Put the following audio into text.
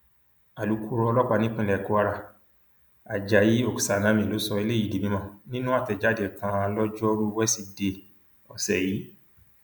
alukoro ọlọpàá nípínlẹ kwara ajayi oksanami ló sọ eléyìí di mímọ nínú àtẹjáde kan lọjọrùú wẹ́sìdeè ọsẹ̀ yìí